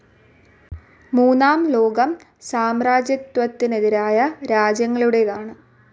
മൂന്നാം ലോകം സാമ്രാജ്യത്വത്തിനെതിരായ രാജ്യങ്ങളുടേതാണ്.